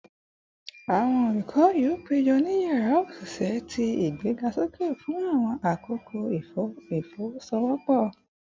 Awọn olukọ yoo pejọ ni yara oṣiṣẹ ti igbegasoke fun awọn akoko ifowosowopo